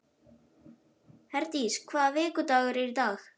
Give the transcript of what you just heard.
Herdís, hvaða vikudagur er í dag?